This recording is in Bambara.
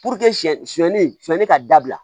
Puruke siɲɛ sonyɛli sɛnni ka dabila